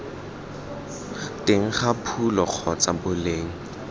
teng ga phulo kgotsa boleng